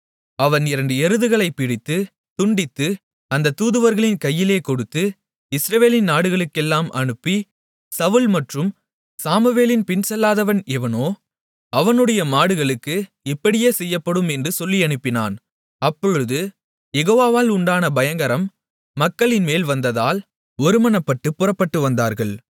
அவன் இரண்டு எருதுகளைப் பிடித்து துண்டித்து அந்தத் தூதுவர்களின் கையிலே கொடுத்து இஸ்ரவேலின் நாடுகளுக்கெல்லாம் அனுப்பி சவுல் மற்றும் சாமுவேலின் பின்செல்லாதவன் எவனோ அவனுடைய மாடுகளுக்கு இப்படியே செய்யப்படும் என்று சொல்லியனுப்பினான் அப்பொழுது யெகோவாவால் உண்டான பயங்கரம் மக்களின்மேல் வந்ததால் ஒருமனப்பட்டுப் புறப்பட்டு வந்தார்கள்